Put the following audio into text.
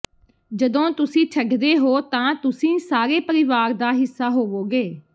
ਜਦੋਂ ਤੁਸੀਂ ਛੱਡਦੇ ਹੋ ਤਾਂ ਤੁਸੀਂ ਸਾਡੇ ਪਰਿਵਾਰ ਦਾ ਹਿੱਸਾ ਹੋਵੋਗੇ